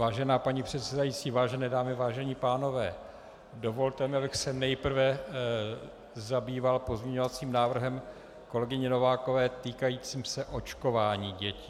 Vážená paní předsedající, vážené dámy, vážení pánové, dovolte mi, abych se nejprve zabýval pozměňovacím návrhem kolegyně Novákové týkajícím se očkování dětí.